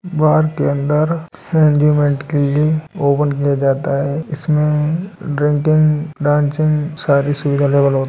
बार के अंदर ओपन किया जाता है इस मे ड्रिंकिंग डांसिंग सारी सिंगल अवेल होती --